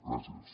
gràcies